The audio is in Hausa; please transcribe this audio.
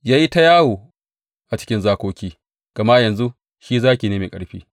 Ya yi ta yawo a cikin zakoki, gama yanzu shi zaki ne mai ƙarfi.